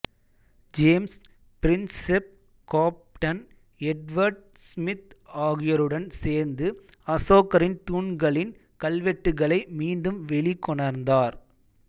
James Prinsep captain Edward Smith ஆகியோருடன் சேர்ந்து அசோகரின் தூண்களின் கல்வெட்டுகளை மீண்டும் வெளிக்கொணர்ந்தார்